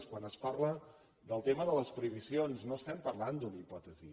quan es parla del tema de les prohibicions no estem parlant d’una hipòtesi